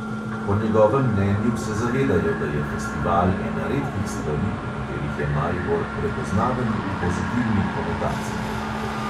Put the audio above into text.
Po njegovem mnenju se zavedajo, da je festival ena redkih stvari, po katerih je maribor "prepoznaven v pozitivni konotaciji".